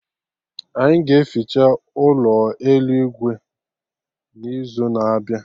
Anyị ga-eficha ụlọ elu Igwe n'izu na-abịa